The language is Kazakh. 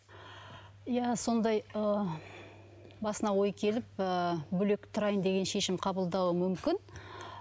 иә сондай ы басына ой келіп ы бөлек тұрайын деген шешім қабылдауы мүмкін